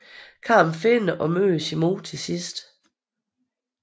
Carmen finder og møder sin mor til sidst